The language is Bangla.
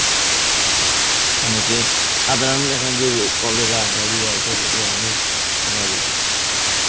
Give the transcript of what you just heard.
অনেকে সাধারণ এখন যে cholera, diarrhoea এই সব রোগে মানুষ মারা যেত.